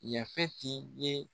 Yafeti ye